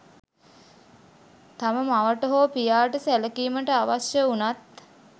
තම මවට හෝ පියාට සැලකීමට අවශ්‍ය වුණත්